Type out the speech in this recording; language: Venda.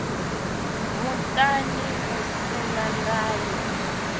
muṱani u si na ndayo